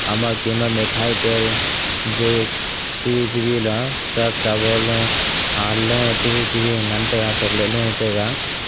ama kem a mithai tai a juice chabi chabi la surf sabon lo a lo chabi chabi ngan taga chocolate lo e taga.